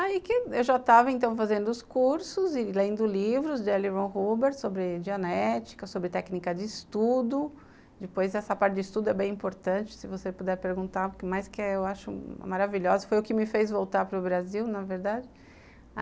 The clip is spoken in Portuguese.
Aí que eu já estava então fazendo os cursos e lendo livros de L. Ron Hubbard sobre dianética, sobre técnica de estudo, depois essa parte de estudo é bem importante, se você puder perguntar o que mais que eu acho maravilhosa, foi o que me fez voltar para o Brasil, na verdade.